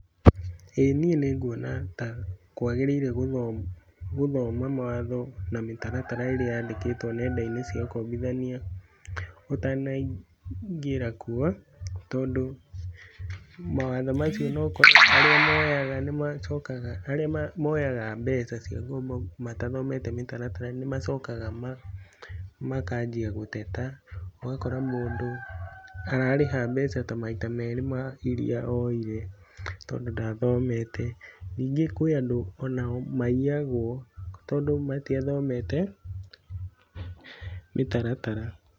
Ĩĩ niĩ nĩ nguona ta kwagĩrĩire gũthoma mawatho na mĩtaratara irĩa yandĩkĩtwo nenda-inĩ cia ũkombithania ũtanaingĩra kuo. Tondũ mawatho macio no ũkore arĩa moyaga nĩ macokaga, arĩa moyaga mbeca cia ngombo matathomete mĩtaratara nĩ macokaga makanjia gũtete. Ũgakora mũndũ ararĩha mbeca ta maita merĩ ma iria oire tondũ ndathomete. Ningĩ kwĩ andũ onao maiyagwo, tondũ matiathomete mĩtaratara.